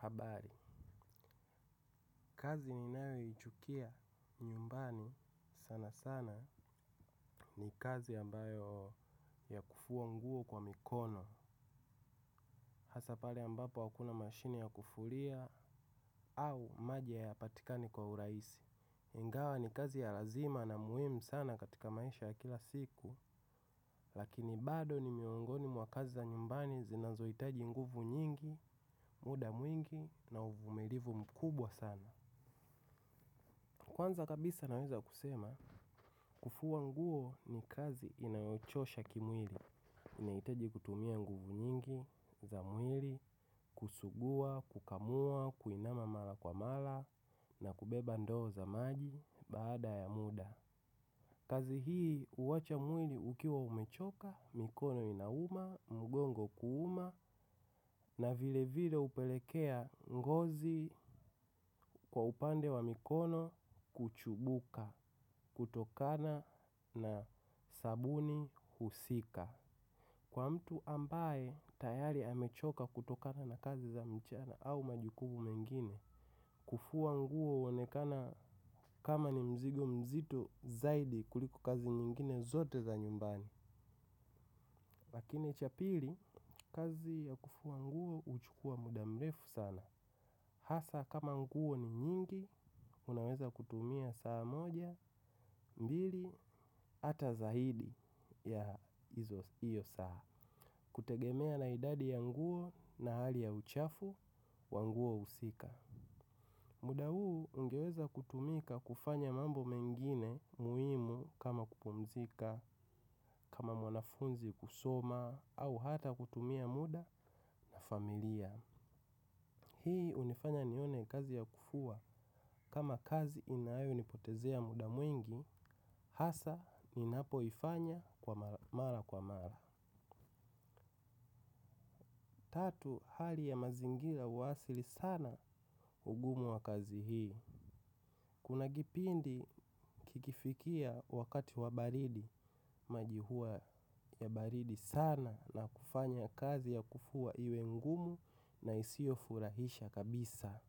Habari, kazi ninayoichukia nyumbani sana sana ni kazi ambayo ni ya kufuwa nguo kwa mikono. Hasa pale ambapo hakuna mashini ya kufulia au maji hayapatikani kwa uraisi. Ingawa ni kazi ya lazima na muhimu sana katika maisha ya kila siku. Lakini bado ni miongoni mwa kazi za nyumbani zinazoitaji nguvu nyingi, muda mwingi na uvumirivu mkubwa sana. Kwanza kabisa naweza kusema, kufuwa nguo ni kazi inayochosha kimwili, inaitaji kutumia nguvu nyingi za mwili, kusugua, kukamua, kuinama mala kwa mala, na kubeba ndoo za maji baada ya muda. Kazi hii uwacha mwili ukiwa umechoka, mikono inauma, mugongo kuuma na vile vile upelekea ngozi kwa upande wa mikono kuchubuka kutokana na sabuni husika. Kwa mtu ambaye tayari amechoka kutokana na kazi za mchana au majukumu mengine kufuwa nguo uonekana kama ni mzigo mzito zaidi kuliko kazi nyingine zote za nyumbani. Lakini cha pili kazi ya kufuwa nguo uchukuwa muda mrefu sana. Hasa kama nguo ni nyingi unaweza kutumia saa moja mbili hata zaidi ya hiyo saa. Kutegemea na idadi ya nguo na hali ya uchafu, wa nguo husika. Muda huu ungeweza kutumika kufanya mambo mengine muhimu kama kupumzika, kama mwanafunzi kusoma, au hata kutumia muda na familia. Hii hunifanya nione kazi ya kufua kama kazi inayonipotezea muda mwingi, hasa ninapoifanya kwa mara kwa mara. Tatu, hali ya mazingira huwasili sana ugumu wa kazi hii. Kuna kipindi kikifikia wakati wa baridi. Maji huwa ya baridi sana na kufanya kazi ya kufuwa iwe ngumu na isiyofurahisha kabisa.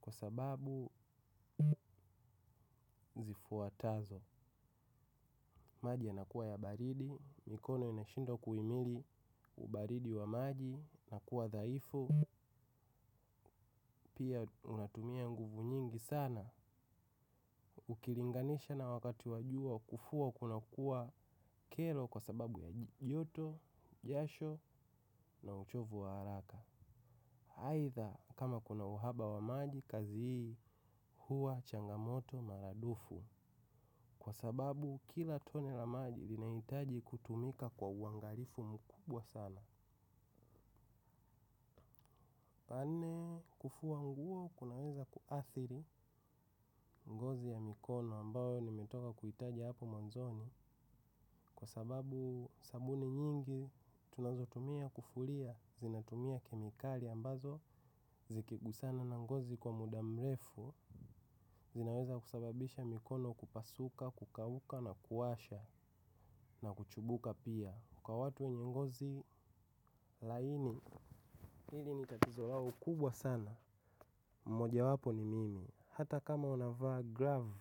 Kwa sababu zifuatazo maji yanakuwa ya baridi, mikono inashindwa kuimili baridi wa maji na kuwa dhaifu, pia unatumia nguvu nyingi sana. Ukilinganisha na wakati wa jua kufua kunakuwa kelo kwa sababu ya joto, jasho na uchovu wa haraka aidha kama kuna uhaba wa maji kazi hii huwa changamoto maradufu. Kwa sababu kila tone la maji linahitaji kutumika kwa uangarifu mkubwa sana. Pane kufua nguo kunaweza kuathiri ngozi ya mikono ambayo nimetoka kuhitaji hapo mwanzoni. Kwa sababu sabuni nyingi tunazotumia kufuria zinatumia kemikali ambazo zikigusana na ngozi kwa muda mrefu. Zinaweza kusababisha mikono kupasuka, kukauka na kuwasha na kuchubuka pia. Kwa watu wenye ngozi laini hili ni tatizo wao kubwa sana mojawapo ni mimi hata kama unavaa glavu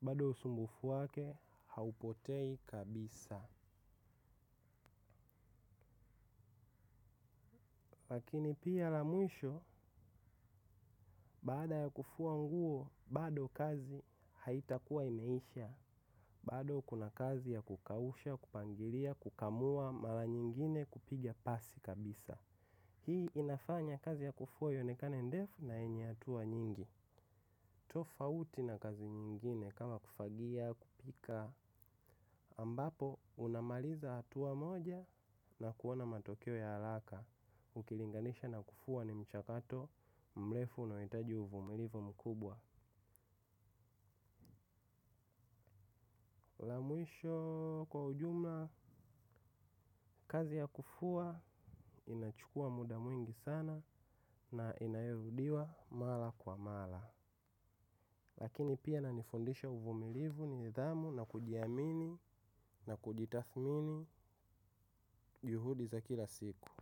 bado usumbufu wake haupotei kabisa. Lakini pia la mwisho, baada ya kufua nguo, bado kazi haitakuwa imeisha, bado kuna kazi ya kukausha, kupangiria, kukamua, mara nyingine kupiga pasi kabisa. Hii inafanya kazi ya kufua ionekane ndefu na yenye hatua nyingi. Tofauti na kazi nyingine kama kufagia, kupika, ambapo unamaliza hatua moja na kuona matokeo ya haraka. Ukilinganisha na kufua ni mchakato mrefu unaohitaji uvumilivu mkubwa mwisho kwa ujumla kazi ya kufua inachukua muda mwingi sana na inarudiwa mara kwa mara Lakini pia inanifundisha uvumilivu nidhamu na kujiamini na kujitathmini juhudi za kila siku.